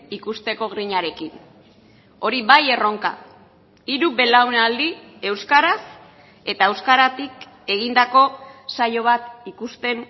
ikusteko grinarekin hori bai erronka hiru belaunaldi euskaraz eta euskaratik egindako saio bat ikusten